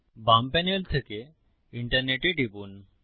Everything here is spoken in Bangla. বাম প্যানেল থেকে ইন্টারনেটে টিপুন